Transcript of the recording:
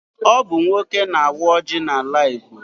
Ọ bụ nwoke na-awa ọjị n'ala Igbo.